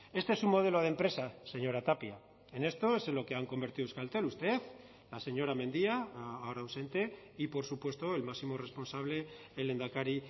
este es un modelo de empresa señora tapia en esto es en lo que han convertido euskaltel usted la señora mendia ahora ausente y por supuesto el máximo responsable el lehendakari